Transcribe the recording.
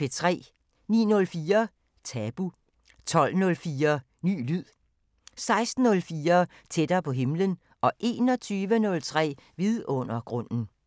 09:04: Tabu 12:04: Ny lyd 16:04: Tættere på himlen 21:03: Vidundergrunden